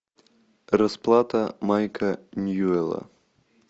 расплата майка ньюэлла